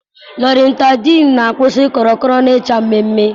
Loratadine na-akwusi korokoro na icha mmemmé